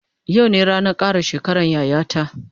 Yau ne ranan kara shekaran yaya ta